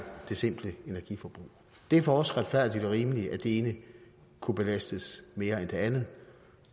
det simple energiforbrug det er for os retfærdigt og rimeligt at det ene kunne belastes mere end det andet